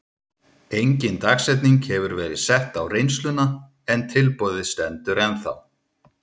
Engin dagsetning hefur verið sett á reynsluna en tilboðið stendur ennþá.